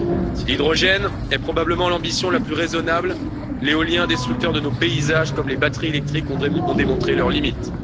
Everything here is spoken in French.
Si l'hydrogène est probablement l'ambition la plus raisonnable, l'éolien, destructeur de nos paysages, comme les batteries électriques ont démontré leurs limites.